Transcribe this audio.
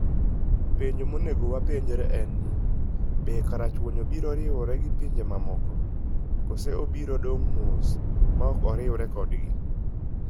Penjo monego wapenjre en ni: Be karachuonyo biro riwore gi pinje mamoko, koso obiro dong' mos maok oriwore kodgi?